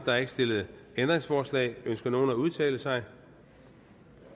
er ikke stillet ændringsforslag ønsker nogen at udtale sig